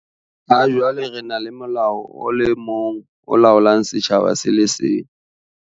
Ha jwale re na le molao o le mong o laolang setjhaba se le seng.